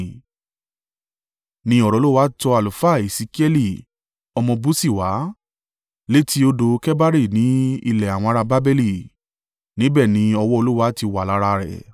ni ọ̀rọ̀ Olúwa tọ àlùfáà Esekiẹli, ọmọ Busii wá, létí odò Kebari ni ilẹ̀ àwọn ará Babeli. Níbẹ̀ ni ọwọ́ Olúwa ti wà lára rẹ̀.